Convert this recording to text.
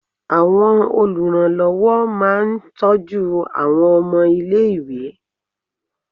Àwọn oluranlowo máa ń tọ́jú àwọn ọmọ ilé-ìwé.